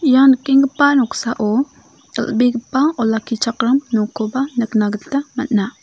ia nikenggipa noksao dal·begipa olakkichakram nokkoba nikna gita man·a.